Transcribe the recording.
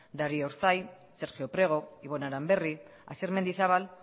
darío urzay sergio prego ibon aranberri asier mendizabal